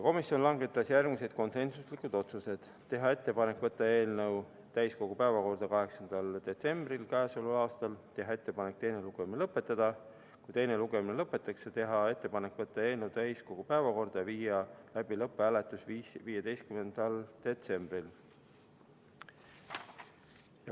Komisjon langetas järgmised konsensuslikud otsused: teha ettepanek võtta eelnõu täiskogu päevakorda k.a 8. detsembriks; teha ettepanek teine lugemine lõpetada; kui teine lugemine lõpetatakse, teha ettepanek võtta eelnõu 15. detsembriks täiskogu päevakorda ja viia läbi lõpphääletus.